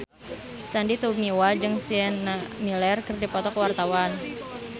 Sandy Tumiwa jeung Sienna Miller keur dipoto ku wartawan